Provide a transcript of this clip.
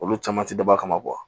Olu caman ti dabɔ kama